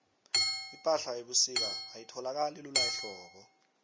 ipahla yebusika ayitholakali lula ehlobo